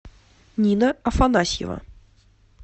нина афанасьева